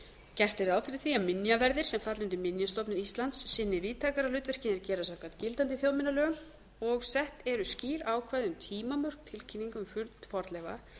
gert er ráð fyrir því að minjaverðir sem falla undir minjastofnun íslands sinni víðtækara hlutverki en þeir gera samkvæmt gildandi þjóðminjalögum tólf sett eru skýr ákvæði um tímamörk tilkynninga um fund fornleifa